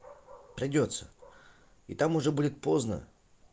придётся и там уже будет поздно